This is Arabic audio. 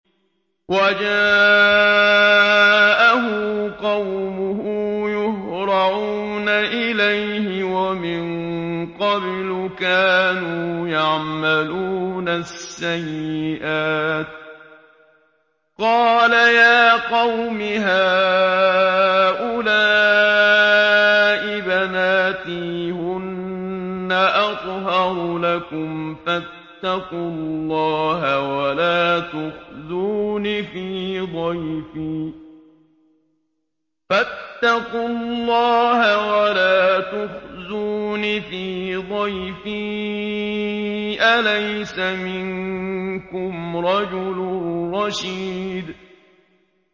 وَجَاءَهُ قَوْمُهُ يُهْرَعُونَ إِلَيْهِ وَمِن قَبْلُ كَانُوا يَعْمَلُونَ السَّيِّئَاتِ ۚ قَالَ يَا قَوْمِ هَٰؤُلَاءِ بَنَاتِي هُنَّ أَطْهَرُ لَكُمْ ۖ فَاتَّقُوا اللَّهَ وَلَا تُخْزُونِ فِي ضَيْفِي ۖ أَلَيْسَ مِنكُمْ رَجُلٌ رَّشِيدٌ